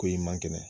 Ko i ma kɛnɛ